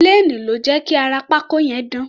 Plane ló jẹ́ kí ara pákó yẹn dán.